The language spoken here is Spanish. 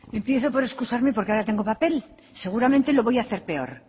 empiezo por excusarme porque ahora tengo papel seguramente lo voy a hacer peor